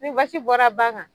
Ni basi bɔra ba kan